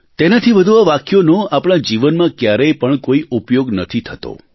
તેનાથી વધુ આ વાક્યોનો આપણા જીવનમાં ક્યારેય પણ કોઇ ઉપયોગ નથી થતો